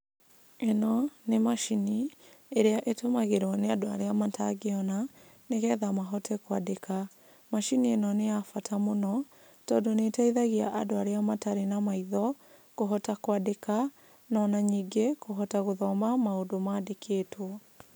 Ĩno, nĩ macini, ĩrĩa ĩtũmagĩrwo nĩ andũ arĩa matangĩona, nĩgetha mahote kwandĩka. Macini ĩno nĩ yabata mũno, tondũ nĩ ĩteithagia andũ arĩa matarĩ na maitho, kũhota kwandĩka, ona ningĩ, kũhota gũthoma maũndũ mandĩkĩtwo.